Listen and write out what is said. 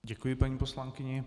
Děkuji paní poslankyni.